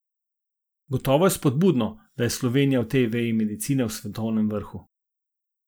Gotovo je spodbudno, da je Slovenija v tej veji medicine v svetovnem vrhu.